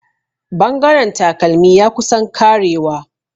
Bangaren takalmi ya kusan karewa.